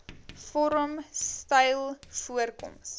vorm styl voorkoms